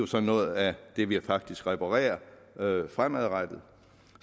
så noget af det vi faktisk reparerer fremadrettet